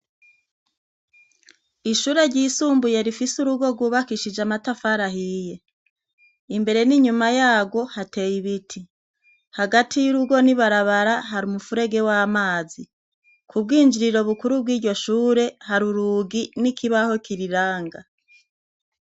Ishure ryisumbuye rifise urugo rwubakishije amatafari ahiye imbere n’inyuma yarwo hateye ibiti hagati yurugo n’ibarabara hari umufurege w’amazi ku bwinjiriro bukuru bwiryo shure hari urugi nikibaho kiriranga.